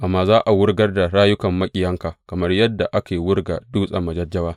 Amma za a wurgar da rayukan maƙiyanka kamar yadda ake wurga dutsen majajjawa.